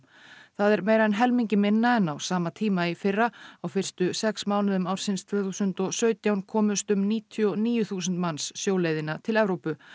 það er meira en helmingi minna en á sama tíma í fyrra á fyrstu sex mánuðum ársins tvö þúsund og sautján komust um níutíu og níu þúsund manns sjóleiðina til Evrópu